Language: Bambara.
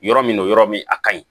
Yɔrɔ min don yɔrɔ min a kaɲi